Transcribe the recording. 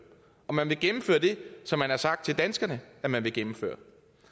om man vil gennemføre det som man har sagt til danskerne at man vil gennemføre